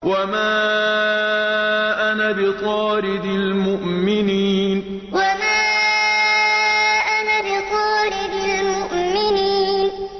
وَمَا أَنَا بِطَارِدِ الْمُؤْمِنِينَ وَمَا أَنَا بِطَارِدِ الْمُؤْمِنِينَ